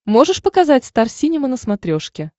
можешь показать стар синема на смотрешке